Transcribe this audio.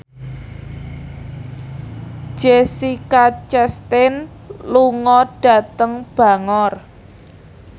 Jessica Chastain lunga dhateng Bangor